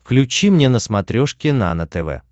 включи мне на смотрешке нано тв